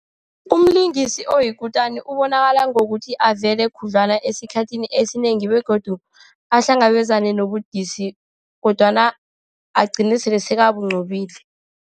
Umlingisi oyikutani ubonakala ngokuthi avele khudlwana esikhathini esinengi, begodu ahlangabezane nobudisi, kodwana agcine sele sekabunqobile.